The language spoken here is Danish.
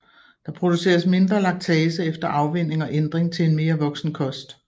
Der produceres mindre laktase efter afvænning og ændring til en mere voksen kost